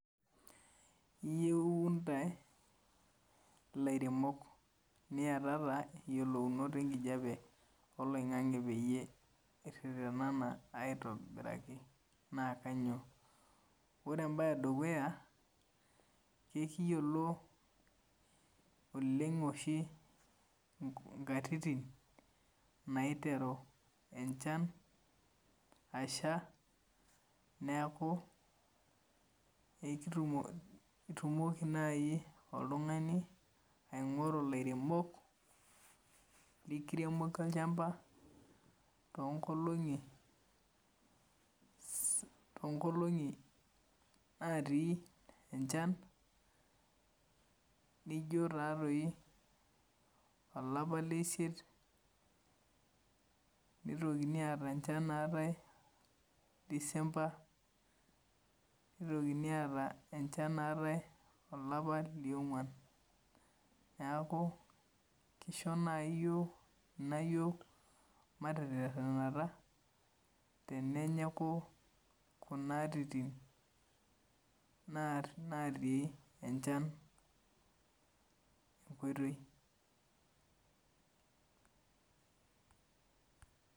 Iyeuu intae ilairemok niatata eyiolounoto enkijape oloing'ang'e peyie irretenena aitobiraki naa kanyioo? Ore embae edukuya kekiyiolo oleng oshi ntatitin naiteru enechan asha neeku etumoki nai oltungani aingoru ilairemok likiriemoki olchamba toonkolong'i natii enchan nijo taa toi olapa leisiet nitokini aata enchan naatai December nitokini aata enchan naatai olapa liong'wan niaku kisho nai ina yiok mateterhenata tenenyiku kuna atitin naati enchan enkoitoi